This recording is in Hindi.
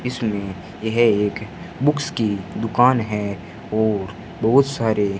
इसमें यह एक बुक्स की दुकान है और बहोत सारे--